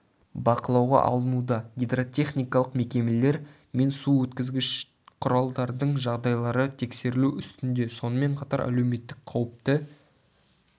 бақылауға алынуда гидротехникалық мекемелер мен су өткізгіш құралдардың жағдайлары тексерілу үстінде сонымен қатар әлеуметтік қауіпті